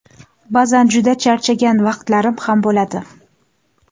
Ba’zan juda charchagan vaqtlarim ham bo‘ladi.